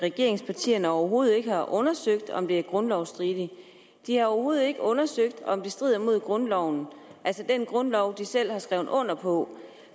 regeringspartierne overhovedet ikke har undersøgt om det er grundlovsstridigt de har overhovedet ikke undersøgt om det strider mod grundloven altså den grundlov de selv har skrevet under på